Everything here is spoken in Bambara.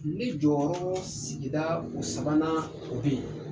Ne jɔyɔrɔ sigida o sabanan o bɛ yen